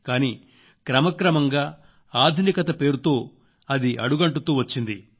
కానీ క్రమక్రమంగా ఆధునికత పేరుతో అది అడుగంటుతూ వచ్చింది